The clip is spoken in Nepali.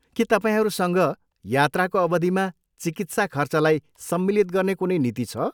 के तपाईँहरूसँग यात्राको अवधिमा चिकित्सा खर्चलाई सम्मिलित गर्ने कुनै नीति छ?